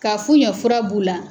Ka f'u ɲɛ fura b'u la